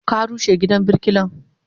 Ka rushe gidan birkilan?